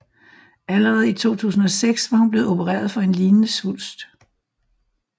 Allerede i 2006 var hun blevet oprereret for en lignende svulst